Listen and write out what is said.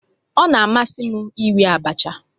Ọ na-amasị m iri abacha.